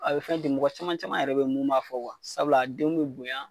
A be fɛn ten . Mɔgɔ caman caman yɛrɛ be yen mun b'a fɔ . Sabula denw be bonya